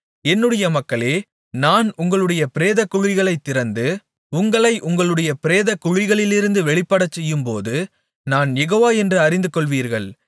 என்னுடைய மக்களே நான் உங்களுடைய பிரேதக்குழிகளைத் திறந்து உங்களை உங்களுடைய பிரேதக்குழிகளிலிருந்து வெளிப்படச்செய்யும்போது நான் யெகோவா என்று அறிந்துகொள்வீர்கள்